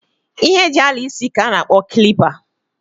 Ihe e ji ala isi ka a na-akpo kilipa.